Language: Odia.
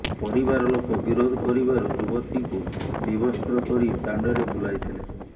ପରିବାର ଲୋକ ବିରୋଧ କରିବାରୁ ଯୁବତୀଙ୍କୁ ବିବସ୍ତ୍ର କରି ଦାଣ୍ଡରେ ବୁଲାଇଥିଲେ